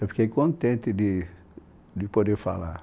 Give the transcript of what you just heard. Eu fiquei contente de de poder falar.